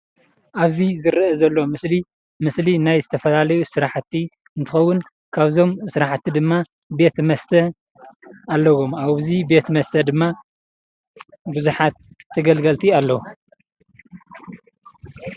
አብዚ ዝረአ ዘሎ ምስሊ ምስሊ ናይ ዝተፈላለዩ ስራሕቲ እንትኸውን ካብዞም ስራሕቲ ድማ ቤት መስተ አለዎ። ኣብዚ ቤት መስተ ድማ ብዙሓት ተገልገልቲ አለው።